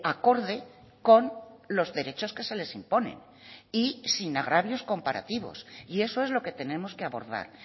acorde con los derechos que se les imponen y sin agravios comparativos y eso es lo que tenemos que abordar